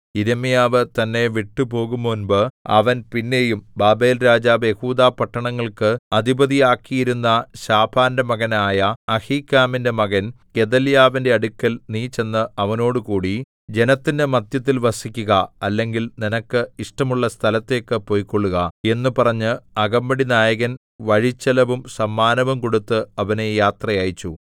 യിരെമ്യാവ് തന്നെ വിട്ടുപോകുംമുമ്പ് അവൻ പിന്നെയും ബാബേൽരാജാവ് യെഹൂദാപട്ടണങ്ങൾക്ക് അധിപതിയാക്കിയിരിക്കുന്ന ശാഫാന്റെ മകനായ അഹീക്കാമിന്റെ മകൻ ഗെദല്യാവിന്റെ അടുക്കൽ നീ ചെന്ന് അവനോടുകൂടി ജനത്തിന്റെ മദ്ധ്യത്തിൽ വസിക്കുക അല്ലെങ്കിൽ നിനക്ക് ഇഷ്ടമുള്ള സ്ഥലത്തേക്ക് പൊയ്ക്കൊള്ളുക എന്നു പറഞ്ഞ് അകമ്പടിനായകൻ വഴിച്ചെലവും സമ്മാനവും കൊടുത്ത് അവനെ യാത്ര അയച്ചു